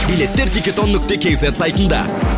билеттер дигидон нүкте кз сайтында